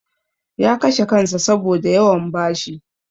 Ya kashe kansa saboda yawan bashi.